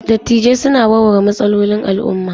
Dattijai suna warware matsalolin al'umma.